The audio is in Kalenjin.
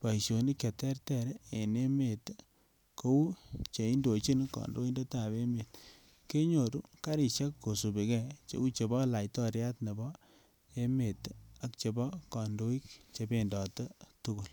boisionik che terter en emet kou che indochin kandoindetab emet kenyoru karisiek kosubike cheu chebo laitoriat nebo emet ak chebo kandoik chebendote tugul.